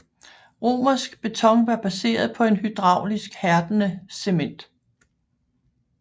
Romersk beton var baseret på en hydraulisk hærdende cement